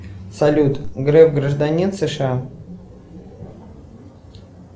салют греф гражданин сша